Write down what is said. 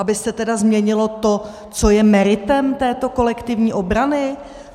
Aby se tedy změnilo to, co je meritem této kolektivní obrany?